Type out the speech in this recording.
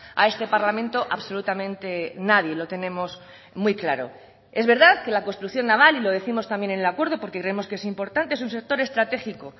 a este parlamento absolutamente nadie lo tenemos muy claro es verdad que la construcción naval y lo décimos también en el acuerdo porque creemos que es importante es un sector estratégico